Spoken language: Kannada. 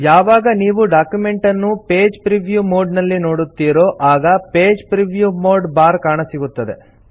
ಯಾವಾಗ ನೀವು ಡಾಕ್ಯುಮೆಂಟ್ ಅನ್ನು ಪೇಜ್ ಪ್ರಿವ್ಯೂ ಮೋಡ್ ನಲ್ಲಿ ನೋಡುತ್ತೀರೋ ಆಗ ಪೇಜ್ ಪ್ರಿವ್ಯೂ ಮೋಡ್ ಬಾರ್ ಕಾಣಸಿಗುತ್ತದೆ